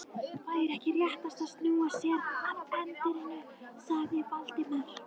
Væri ekki réttast að snúa sér að erindinu? sagði Valdimar.